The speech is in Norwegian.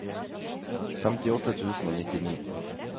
femtiåtte tusen og nittini